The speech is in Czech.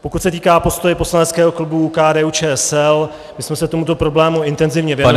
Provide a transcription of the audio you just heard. Pokud se týká postoje Poslaneckého klubu KDU-ČSL, my jsme se tomuto problému intenzivně věnovali.